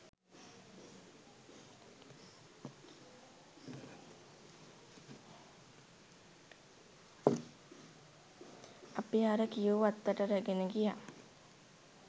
අපි අර කියූ වත්තට රැගෙන ගියා